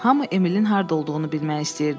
Hamı Emilin harda olduğunu bilmək istəyirdi.